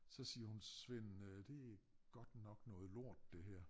Så siger hun Svend øh det godt nok noget lort det her